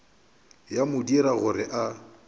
ya mo dira gore a